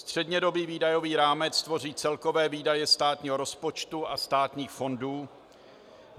Střednědobý výdajový rámec tvoří celkové výdaje státního rozpočtu a státních fondů.